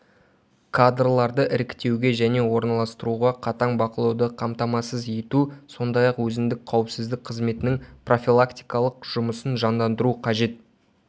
кадрларды іріктеуге және орналастыруға қатаң бақылауды қамтамасыз ету сондай-ақ өзіндік қауіпсіздік қызметінің профилактикалық жұмысын жандандыру қажет